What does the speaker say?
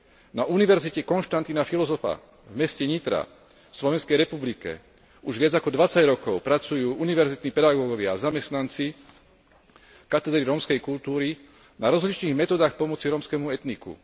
Na Univerzite Konštantína Filozofa v meste Nitra v Slovenskej republike už viac ako dvadsať rokov pracujú univerzitní pedagógovia a zamestnanci Katedry rómskej kultúry na rozličných metódach pomoci rómskemu etniku.